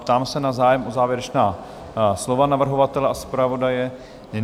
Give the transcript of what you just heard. Ptám se na zájem o závěrečná slova navrhovatele a zpravodaje?